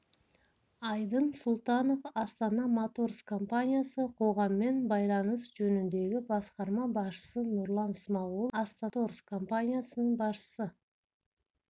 айдын сұлтанов астана моторс компаниясы қоғаммен байланыс жөніндегі басқарма басшысы нұрлан смағұлов астана моторс компаниясының басшысы